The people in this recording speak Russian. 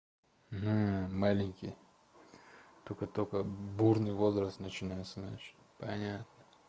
мм маленькие только-только бурный возраст начинается знаешь понятно